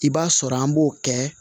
I b'a sɔrɔ an b'o kɛ